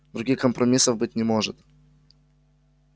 других компромиссов быть не может